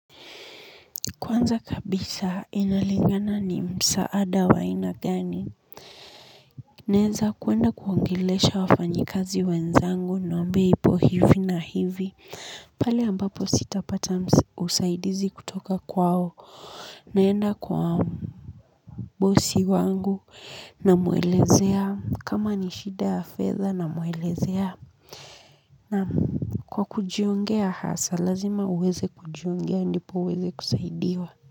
Kwanza kabisa inalingana ni msaada wa aina gani naeza kwenda kuongelesha wafanyikazi wenzangu niwaambie ipo hivi na hivi pale ambapo sitapata usaidizi kutoka kwao naenda kwa bosi wangu namuelezea kama ni shida ya fedha namuelezea kwa kujiongea hasa lazima uweze kujiongea ndipo uweze kusaidiwa.